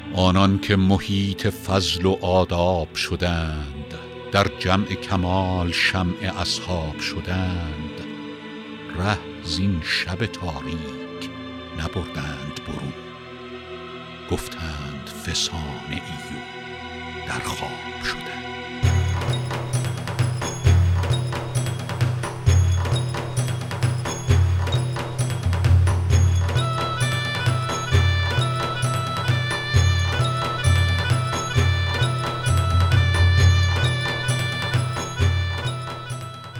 آنان که محیط فضل و آداب شدند در جمع کمال شمع اصحاب شدند ره زین شب تاریک نبردند به روز گفتند فسانه ای و در خواب شدند